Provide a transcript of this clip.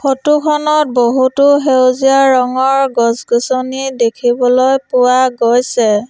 Photo খনত বহুতো সেউজীয়া ৰঙৰ গছ-গছনি দেখিবলৈ পোৱা গৈছে।